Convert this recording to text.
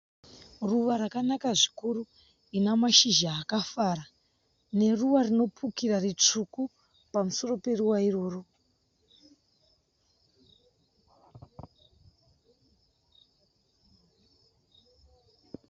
Ruva rakanaka zvikuru rina mashizha akafara. Neruva rinopukira ritsvuku pamusoro peruva iroro.